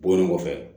Bɔlen kɔfɛ